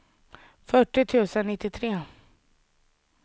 fyrtio tusen nittiotre